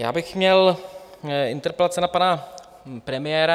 Já bych měl interpelace na pana premiéra.